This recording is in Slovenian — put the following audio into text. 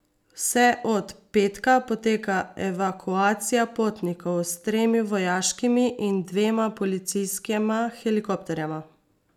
Vse od petka poteka evakuacija potnikov s tremi vojaškimi in dvema policijskima helikopterjema.